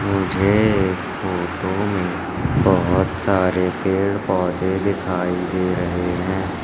मुझे इस फोटो में बहोत सारे पेड़ पौधे दिखाई दे रहे हैं।